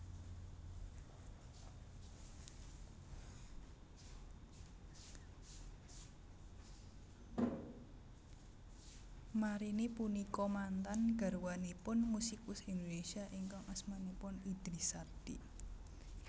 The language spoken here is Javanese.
Marini punika mantan garwanipun musikus Indonésia ingkang asmanipun Idris Sardi